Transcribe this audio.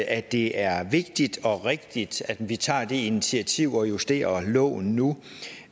at det er vigtigt og rigtigt at vi tager det initiativ og justerer loven nu